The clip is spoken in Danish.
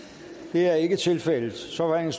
det er ikke tilfældet så er